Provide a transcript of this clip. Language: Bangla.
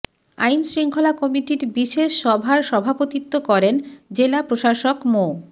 আইন শৃঙ্খলা কমিটির বিশেষ সভার সভাপতিত্ব করেন জেলা প্রশাসক মো